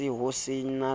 ho se ho se na